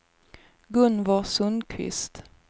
Gunvor Sundqvist